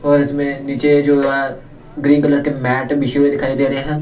और इसमें नीचे जो ग्रीन कलर के मैट मिसे हुए दिखाई दे रहे हैं.